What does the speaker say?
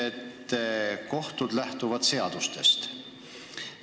Te kinnitasite, et kohtud lähtuvad seadustest.